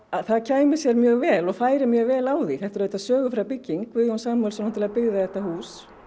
það kæmi sér mjög vel og færi mjög vel á því þetta er sögufræg bygging og Guðjón Samúelsson byggði þetta hús